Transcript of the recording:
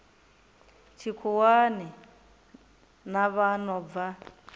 tshikhuwani na vha no bva